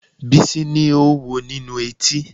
Bísí ni oówo nínú etí